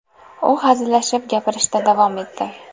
U hazillashib, gapirishda davom etdi.